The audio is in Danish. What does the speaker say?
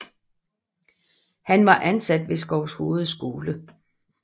Han var ansat ved Skovshoved skole